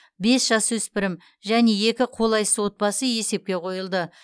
бес жасөспірім және екі қолайсыз отбасы есепке қойылды